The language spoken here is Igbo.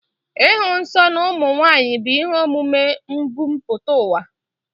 Ịhụ nsọ n'ụmụ nwaanyị bụ ihe omume mbumputauwa